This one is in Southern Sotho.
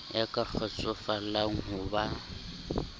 ya ka kgotsofallang ho ba